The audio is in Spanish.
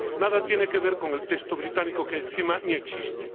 2. Nada tiene que ver con el texto británico, que encima ni existe.